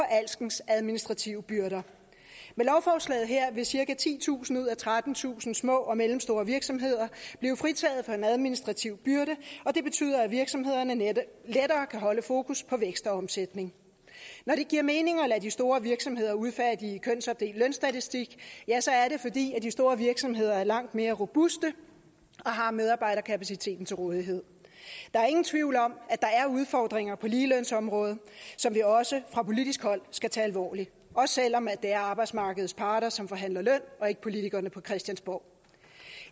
alskens administrative byrder med lovforslaget her vil cirka titusind ud af trettentusind små og mellemstore virksomheder blive fritaget for en administrativ byrde og det betyder at virksomhederne lettere kan holde fokus på vækst og omsætning når det giver mening at lade de store virksomheder udfærdige kønsopdelt lønstatistik er det fordi de store virksomheder er langt mere robuste og har medarbejderkapaciteten til rådighed der er ingen tvivl om at der er udfordringer på ligelønsområdet som vi også fra politisk hold skal tage alvorligt også selv om det er arbejdsmarkedets parter som forhandler løn og ikke politikerne på christiansborg